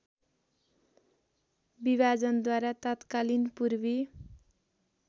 विभाजनद्वारा तत्कालीन पूर्वी